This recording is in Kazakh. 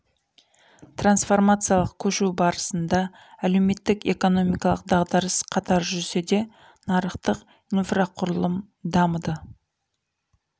трансформациялық көшу барысында әлеуметтік экономикалық дағдарыс қатар жүрсе де нарықтық инфрақұрылым дамыды